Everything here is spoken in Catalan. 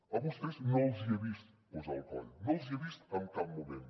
a vostès no els he vist posar el coll no els hi he vist en cap moment